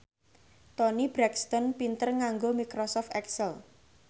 Toni Brexton pinter nganggo microsoft excel